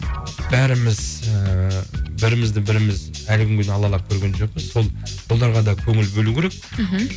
бәріміз ііі бірімізді біріміз әлі күнге дейін алалап көрген жоқпыз сол оларға да көңіл бөлу керек мхм